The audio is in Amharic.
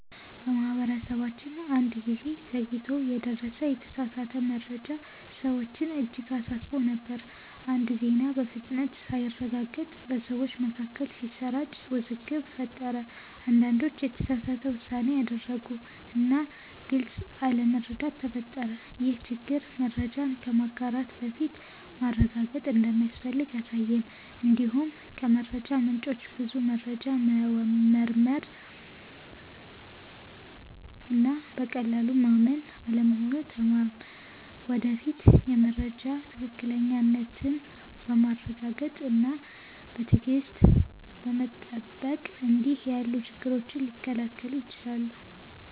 በማህበረሰባችን አንድ ጊዜ ዘግይቶ የደረሰ የተሳሳተ መረጃ ሰዎችን እጅግ አሳስቦ ነበር። አንድ ዜና በፍጥነት ሳይረጋገጥ በሰዎች መካከል ሲሰራጭ ውዝግብ ፈጠረ። አንዳንዶች የተሳሳተ ውሳኔ አደረጉ እና ግልጽ አለመረዳት ተፈጠረ። ይህ ችግር መረጃን ከማጋራት በፊት ማረጋገጥ እንደሚያስፈልግ አሳየን። እንዲሁም ከመረጃ ምንጮች ብዙ መረጃ መመርመር እና በቀላሉ ማመን አለመሆኑን ተማርን። ወደፊት የመረጃ ትክክለኛነትን በማረጋገጥ እና በትዕግሥት በመጠበቅ እንዲህ ያሉ ችግሮች ሊከላከሉ ይችላሉ።